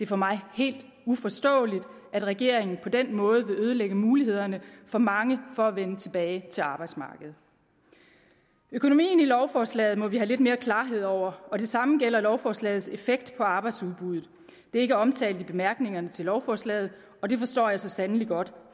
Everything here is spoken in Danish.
for mig helt uforståeligt at regeringen på den måde vil ødelægge mulighederne for mange for at vende tilbage til arbejdsmarkedet økonomien i lovforslaget må vi have lidt mere klarhed over og det samme gælder lovforslagets effekt på arbejdsudbuddet det er ikke omtalt i bemærkningerne til lovforslaget og det forstår jeg så sandelig godt